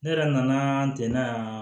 Ne yɛrɛ nana deli yan